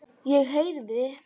Ég heyrði.